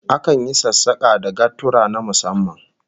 Akan yi sassaka da gaturra na musamman